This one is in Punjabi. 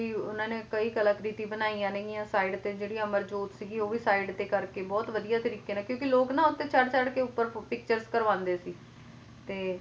ਕਈ ਉਹਨਾਂ ਨੇ ਕਈ ਕਲਾਕ੍ਰਿਤੀ ਬਣਾਈਆਂ ਨੇ ਗੀਆਂ side ਤੇ ਜਿਹੜੀ ਅਮਰ ਜੋਤ ਸੀ ਗੀ ਤੇ ਉਹ ਵੀ side ਤੇ ਕਰਕੇ ਬਹੁਤ ਵਧੀਆ ਤਰੀਕੇ ਨਾਲ ਕਿਉਂਕਿ ਲੋਕ ਨਾ ਚੜ ਚੜ ਕੇ ਉੱਪਰ pictures ਕਰਵਾਉਂਦੇ ਸੀ ਤੇ